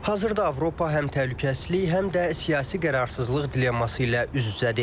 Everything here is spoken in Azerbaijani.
Hazırda Avropa həm təhlükəsizlik, həm də siyasi qeyri-sabitlik dilemması ilə üz-üzədir.